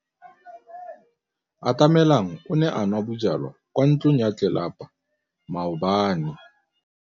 Atamelang o ne a nwa bojwala kwa ntlong ya tlelapa maobane.